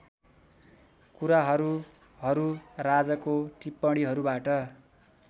कुराहरूहरू राजको टिप्पणीहरूबाट